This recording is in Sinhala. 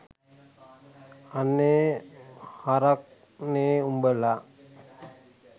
අනේ හරක් නේ උඹලා